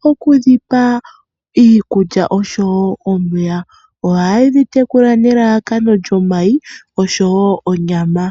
mokudhipa iikulya oshowo omeya, ohaye dhi tekula nelalakano lyomayi oshowo onyama.